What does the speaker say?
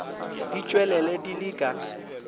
di tpwelele di le ka